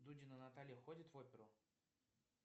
дудина наталья ходит в оперу